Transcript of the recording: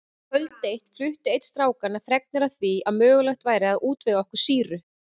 Kvöld eitt flutti einn strákanna fregnir af því að mögulegt væri að útvega okkur sýru.